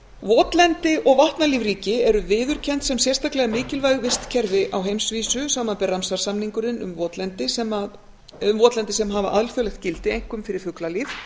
votlendi og vatnalífríki eru viðurkennd sem sérstaklega mikilvæg vistkerfi á heimsvísu samanber ramsar samninginn um votlendi sem hafa alþjóðlegt gildi einkum fyrir fuglalíf